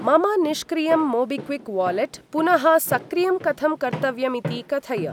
मम निष्क्रियं MobiKwik wallet पुनः सक्रियं कथं कर्तव्यमिति कथय।